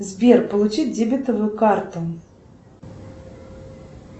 сбер получить дебетовую карту